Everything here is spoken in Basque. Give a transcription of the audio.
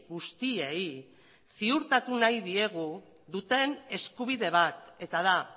guztiei ziurtatu nahi diegu duten eskubide bat eta da